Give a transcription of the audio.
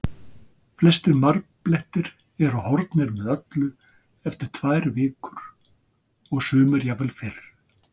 Flestir marblettir eru horfnir með öllu eftir tvær vikur og sumir jafnvel fyrr.